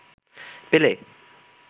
পেলে